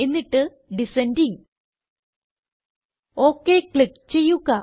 എന്നിട്ട് ഡിസെൻഡിംഗ് ഒക് ക്ലിക്ക് ചെയ്യുക